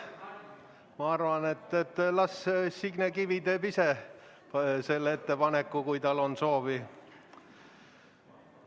Ma arvan, et las Signe Kivi teeb ise selle ettepaneku, kui tal on soovi.